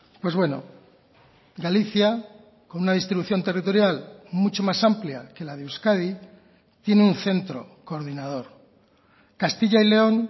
pues bueno galicia con una distribución territorial mucho más amplia que la de euskadi tiene un centro coordinador castilla y león